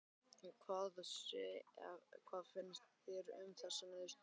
Hvað finnst þér um þessa niðurstöðu?